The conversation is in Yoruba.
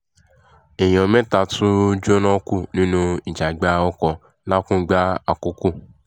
èèyàn mẹ́ta tún jóná kú nínú ìjàgbá ọkọ̀ làkùngbà àkókò